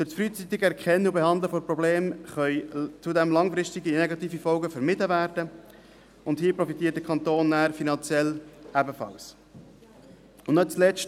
Durch das frühzeitige Erkennen und Behandeln von Problemen können zudem langfristige negative Folgen vermieden werden, und hier profitiert der Kanton nachher ebenfalls finanziell.